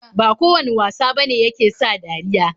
Ba kowane wasa bane yake sa dariya.